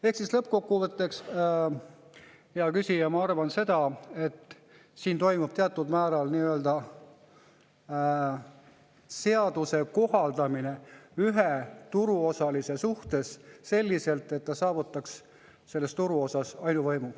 Ehk lõppkokkuvõtteks, hea küsija, ma arvan seda, et siin toimub teatud määral seaduse kohaldamine ühe turuosalise selliselt, et ta saavutaks selles turuosas ainuvõimu.